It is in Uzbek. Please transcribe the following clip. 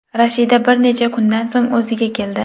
Rashida bir necha kundan so‘ng o‘ziga keldi.